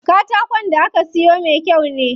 Katakon da aka siyo me kyau ne.